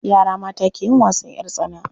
Yara mata ke yin wasan ƴar tsana.